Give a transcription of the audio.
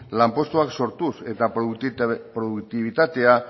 lanpostuak sortuz eta produktibitatea